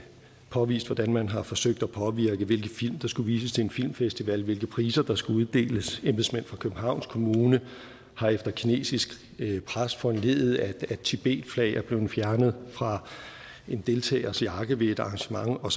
påvist hvordan man har forsøgt at påvirke hvilke film der skulle vises til en filmfestival hvilke priser der skulle uddeles embedsmænd fra københavns kommune har efter kinesisk pres foranlediget at tibetflag er blevet fjernet fra en deltagers jakke ved et arrangement og